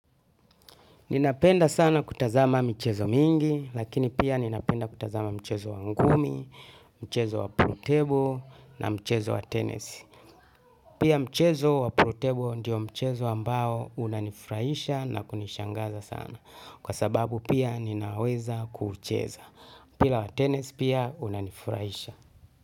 Ninapenda sana kutazama michezo mingi, lakini pia ninapenda kutazama mchezo wa ngumi, mchezo wa pool table na mchezo wa tennis. Pia mchezo wa pool table ndiyo mchezo ambao unanifuraisha na kunishangaza sana. Kwa sababu pia ninaweza kuucheza. Mpira wa tennis pia unanifuraisha.